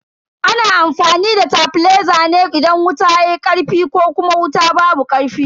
Ana amfani da tabileza ne idan wuta yayi karfi ko kuma wuta babu karfi.